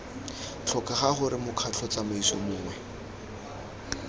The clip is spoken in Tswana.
tlhokega gore mokgatlho tsamaiso mongwe